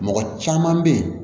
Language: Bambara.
Mɔgɔ caman bɛ yen